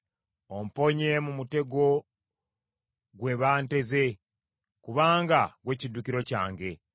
Omponye mu mutego gwe banteze; kubanga ggwe kiddukiro kyange.